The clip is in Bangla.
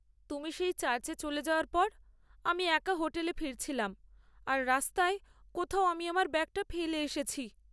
তুমি সেই চার্চে চলে যাওয়ার পর, আমি একা হোটেলে ফিরছিলাম আর রাস্তায় কোথাও আমি আমার ব্যাগটা ফেলে এসেছি।